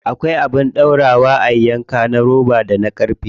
Akwai abin dorawa a yanka na roba da ƙarfe.